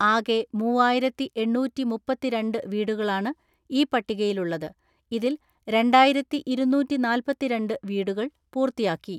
ആകെ മൂവായിരത്തിഎണ്ണൂറ്റിമുപ്പത്തിരണ്ട് വീടുകളാണ് ഈ പട്ടികയിലുള്ളത് . ഇതിൽ രണ്ടായിരത്തിഇരുന്നൂറ്റി നാല്പത്തിരണ്ട്‍ വീടുകൾ പൂർത്തിയാക്കി.